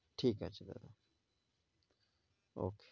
ঠিক আছে দাদা, okay.